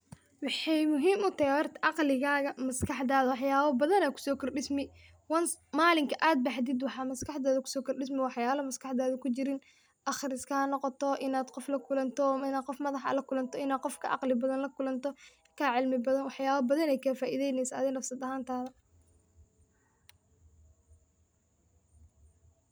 Wexey muhiim utahay horta aqligaga wax badan aya kusokordismi once malinki ad baxdo waxa maskaxdada kukordismi waxyala maskaxdada kujirin aqriska hanoqoto, in ad qof lakulanto, in ad qof ka cimli badan lakulanto waxyabo badan ayey kafaideneysa adhiga nafsad ahantada.